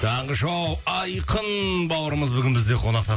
таңғы шоу айқын бауырымыз бүгін бізде қонақта